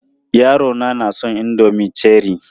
Yarona na son indomin Cherie.